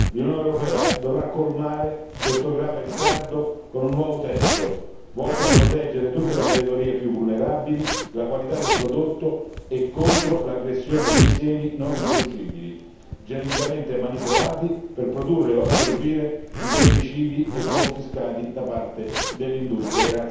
L'Unione europea dovrà colmare questo grave ritardo con un nuovo testo, volto a proteggere tutte le categorie più vulnerabili e la qualità del prodotto, contro l'aggressione dei semi non riproducibili, geneticamente manipolati per produrre o assorbire i pesticidi e confiscati da parte dell'industria.